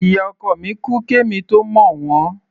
Ìyá ọkọ mi kú kí èmi tó mọ̀ wọ́n.